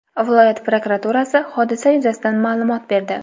Viloyat prokuraturasi hodisa yuzasidan ma’lumot berdi.